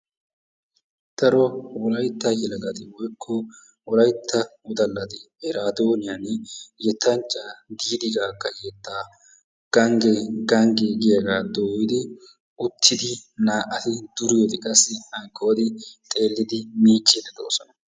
daro wollaytta wodallati woykko wollaytta yelagati eraadooniyaan yettanachchaa diidi gaaga yettaa ganggee ganggee giyaagaa dooyidi uttidi na"ati duuriyoode qassi hankkooti miicciidi de"oosona.